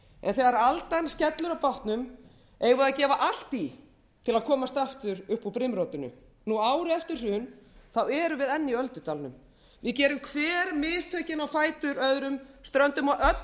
þegar aldan skellur á bátnum eigum við að gefa allt í til að komast aftur upp úr brimrótinu nú ári eftir hrun erum við enn í öldudalnum við gerum hver mistökin á fætur öðrum ströndum á öllum þeim